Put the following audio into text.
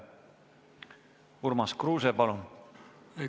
Urmas Kruuse, palun!